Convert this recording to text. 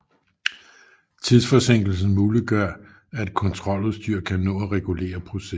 Tidsforsinkelsen muliggør at kontroludstyr kan nå at regulere processen